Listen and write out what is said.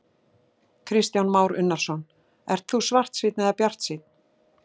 Kristján Már Unnarsson: Ert þú svartsýnn eða bjartsýnn?